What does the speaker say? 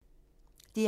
DR1